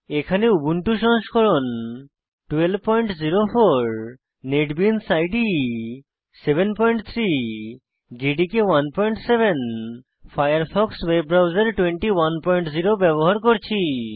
এখানে উবুন্টু সংস্করণ 1204 NetBeans IDE 73 JDK 17 Firefox web browser 210 ব্যবহার করছি